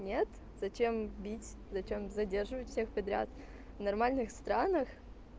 нет зачем бить зачем задерживать всех подряд в нормальных странах